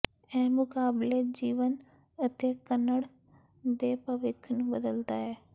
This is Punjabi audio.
ਇਹ ਮੁਕਾਬਲੇ ਜੀਵਨ ਅਤੇ ਕੱਨੜ ਦੇ ਭਵਿੱਖ ਨੂੰ ਬਦਲਦਾ ਹੈ